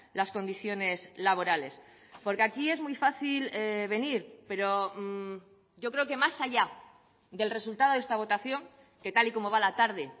las condiciones laborales porque aquí es muy fácil venir pero yo creo que más allá del resultado de esta votación que tal y como va la tarde